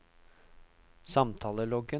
samtaleloggen